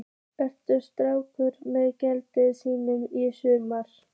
Ertu sáttur með gengi liðsins í sumar?